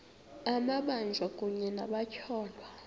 amabanjwa kunye nabatyholwa